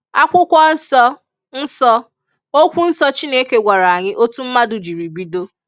Akwụkwọ nsọ, nsọ, okwu nsọ Chineke gwara anyị otu mmadụ jiri bido